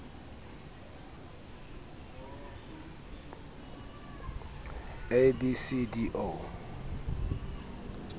a b c d o